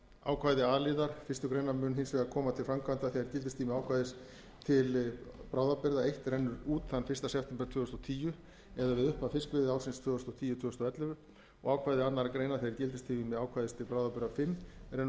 ákvæði a liðar fyrstu grein mun hins vegar koma til framkvæmda þegar gildistími ákvæðis til bráðabirgða eins rennur út þann fyrsta september tvö þúsund og tíu eða við upphaf fiskveiðiársins tvö þúsund og tíu tvö þúsund og ellefu og ákvæði annarrar greinar þegar gildistími ákvæðis til bráðabirgða fimm rennur